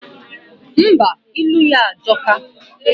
Ḿbà, ilu ya ajoka.